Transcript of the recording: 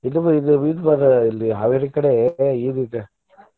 ಇದು ಇದು ಇದ ಬರ್ತೆತಿ ಅಲ್ಲಿ Haveri ಕಡೆ ಇದ್ ಐತಿ.